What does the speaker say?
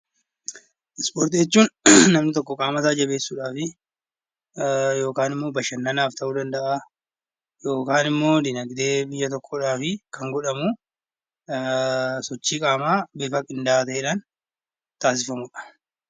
Ispoortii jechuun namni tokko qaama isaa jabeessuuf yookaan immoo bashannanaaf ta'uu danda'a, yookaan immoo dinaagdee biyya tokkoof kan godhamu sochii qaamaa haala qindaa'aa taasisuu danda'uudha.